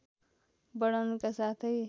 बढाउनुका साथै